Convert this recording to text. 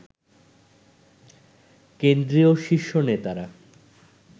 কেন্দ্রীয় শীর্ষ নেতারা